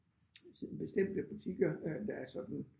Sådan bestemte butikker øh der er sådan